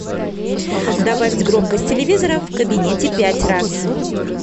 добавить громкость телевизора в кабинете пять раз